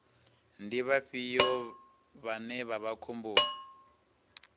ndi vhafhio vhane vha vha khomboni